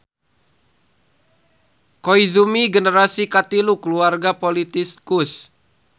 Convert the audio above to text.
Koizumi generasi katilu kulawarga politikus.